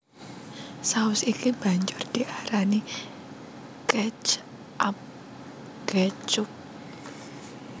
Saus iki banjur diarani catchup ketchup